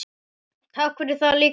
Takk fyrir það líka.